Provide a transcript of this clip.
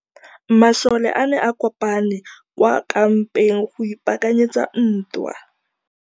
Masole a ne a kopane kwa kampeng go ipaakanyetsa ntwa.